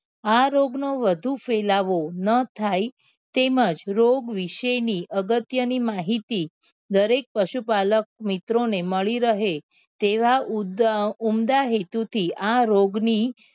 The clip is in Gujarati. આ રોગ નો વધુ ફેલાવો નાં થાય તેમજ રોગ વિશે ની અગત્ય ની માહિતી દરેક પશુપાલક મિત્રો ને મળી રહે તેવા ઉદ્ગા ઉમદા હેતુ થું આ રોગ ની